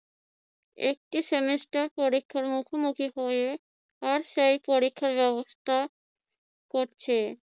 একটি semester পরীক্ষার মুখোমুখি হয়ে আর সেই পরীক্ষা ব্যবস্থা করছে।